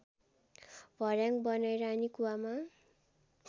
भर्‍याङ बनाई रानीकुवामा